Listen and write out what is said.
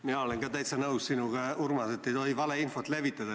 Mina olen täitsa nõus sinuga, Urmas, et ei tohi valeinfot levitada.